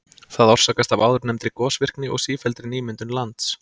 Það orsakast af áðurnefndri gosvirkni og sífelldri nýmyndun lands.